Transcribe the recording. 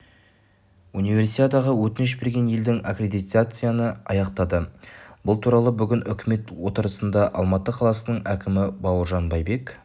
универсиадаға өтініш берген елдің аккредитацияны аяқтады бұл туралы бүгін үкімет отырысында алматы қаласының әкімі бауыржан байбек